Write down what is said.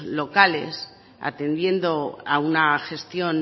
locales atendiendo a una gestión